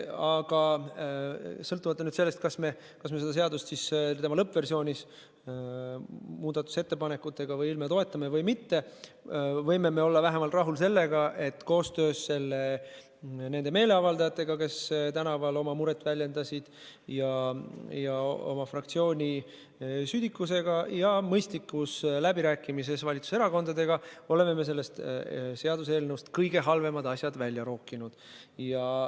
Aga sõltumata sellest, kas me seda eelnõu tema lõppversioonis muudatusettepanekutega või ilma toetame või mitte, võime me olla vähemalt rahul sellega, et koostöös nende meeleavaldajatega, kes tänaval oma muret väljendasid, ja tänu oma fraktsiooni südikusele ja mõistlikkusele läbirääkimises valitsuserakondadega oleme me sellest seaduseelnõust kõige halvemad asjad välja rookinud.